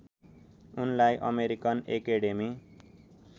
उनलाई American academy